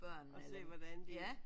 Og se hvordan de